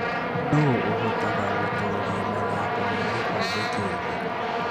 Nũũ ũhotaga gũtooria mathako ma gĩkombe kĩa thĩ?